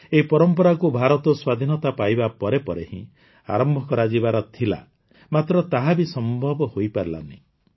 ଏହି ପରମ୍ପରାକୁ ଭାରତ ସ୍ୱାଧୀନତା ପାଇବା ପରେ ପରେ ହିଁ ଆରମ୍ଭ କରାଯିବାର ଥିଲା ମାତ୍ର ତାହା ବି ସମ୍ଭବ ହୋଇପାରିଲା ନାହିଁ